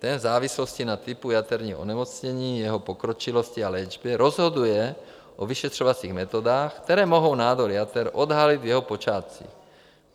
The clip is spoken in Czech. Ten v závislosti na typu jaterního onemocnění, jeho pokročilosti a léčby rozhoduje o vyšetřovacích metodách, které mohou nádor jater odhalit v jeho počátcích.